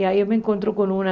E aí eu me encontro com uma...